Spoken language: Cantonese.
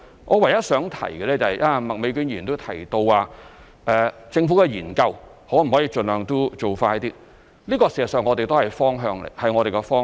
我唯一想提及的是，剛才麥美娟議員亦提到，政府的研究可否盡量做快點，這事實上亦是我們的方向。